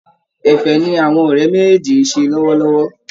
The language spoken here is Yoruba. Ẹ̀fẹ̀ ni àwọn ọ̀rẹ́ méjèèjì ń ṣe lọ́wọ́lọ́wọ́